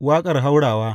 Waƙar haurawa.